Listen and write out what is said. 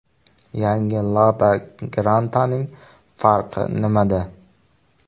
Yangi LADA Granta’ning farqi nimada?